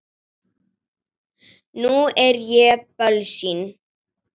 Nú er ég bölsýn.